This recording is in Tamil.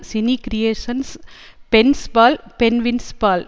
சினி கிரியேஷன்ஸ் பென்ஸ்பால் பென்வின்ஸ் பால்